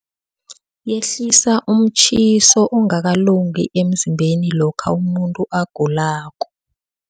Yehlisa umtjhiso ongakalungi emzimbeni lokha umuntu agulako.